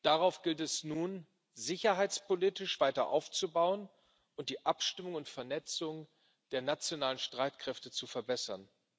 Darauf gilt es nun, sicherheitspolitisch weiter aufzubauen und die Abstimmung und Vernetzung der nationalen Streitkräfte zu verbessern.